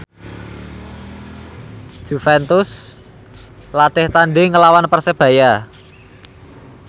Juventus latih tandhing nglawan Persebaya